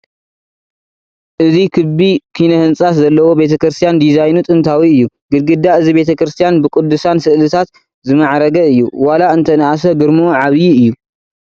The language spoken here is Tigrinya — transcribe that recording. እዚ ክቢ ኪነ ህንፃ ዘለዎ ቤተ ክርስቲያን ዲዛይኑ ጥንታዊ እዩ፡፡ ግድግዳ እዚ ቤተ ክርስቲያን ብቅዱሳን ስእላት ዝማዕረገ እዩ፡፡ ዋላ እንተንኣሰ ግርምኡ ዓብዪ እዩ፡፡